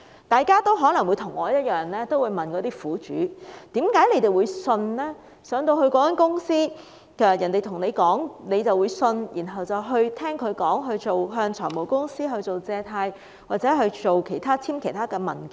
大家可能與我一樣，會問苦主為何進入那間公司，人家說甚麼就相信，然後向財務公司借貸或簽署其他文件？